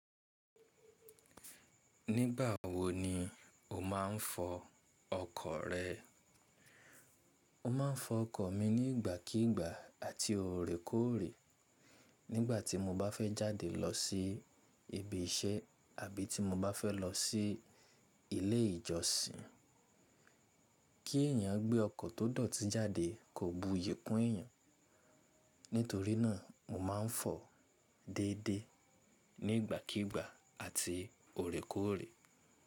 Nígbà wo ni o máa ń fọ ọkọ̀ rẹ? O máa ń fọ ọkọ̀ mi nígbàkígbà àti òrékòrè. Nígbà tí mo bá fẹ́ jáde lọ sí ibi iṣẹ́ àbí tí mo bá fẹ́ lo sí ilé ìjọsìn. Kí èèyàn gbé ọkọ̀ tó dọ̀tí jáde kò buyì kun ẹ̀yàn. Nítorí náà mo máa ń fọ déédéé nigbàkígbà àti òrékòrè.